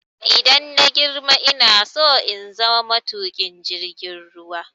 Idan na girma ina so in zama matuƙin jirgin ruwa.